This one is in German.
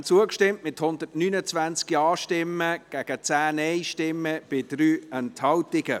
Sie haben dem zugestimmt, mit 129 Ja- gegen 10 Nein-Stimmen bei 3 Enthaltungen.